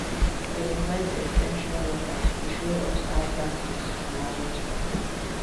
dem invite ex ten sion workers to show us how tactics to manage money